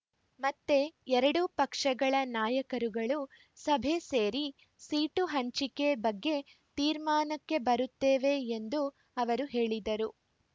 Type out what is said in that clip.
ಮತ್ತೆ ಎರಡೂ ಪಕ್ಷಗಳ ನಾಯಕರುಗಳು ಸಭೆ ಸೇರಿ ಸೀಟು ಹಂಚಿಕೆ ಬಗ್ಗೆ ತೀರ್ಮಾನಕ್ಕೆ ಬರುತ್ತೇವೆ ಎಂದು ಅವರು ಹೇಳಿದರು